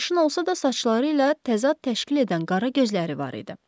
Sarışın olsa da, saçları ilə təzad təşkil edən qara gözləri var idi.